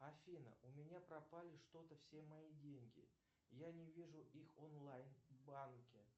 афина у меня пропали что то все мои деньги я не вижу их в онлайн банке